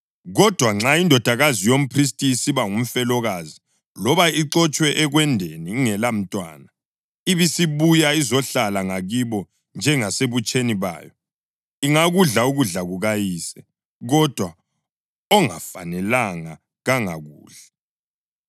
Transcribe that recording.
Kodwa nxa indodakazi yomphristi isiba ngumfelokazi loba ixotshwe ekwendeni ingelamntwana, ibisibuya izohlala ngakibo njengasebutsheni bayo, ingakudla ukudla kukayise; kodwa ongafanelanga kangakudli.